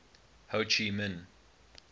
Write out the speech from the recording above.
ho chi minh